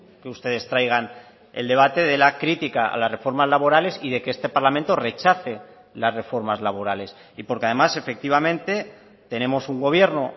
que ustedes traigan el debate de la crítica a las reformas laborales y de que este parlamento rechace las reformas laborales y porque además efectivamente tenemos un gobierno